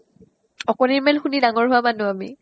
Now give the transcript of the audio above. অকণিৰ মেল শুনি ডাঙৰ হোৱা মানুহ আমি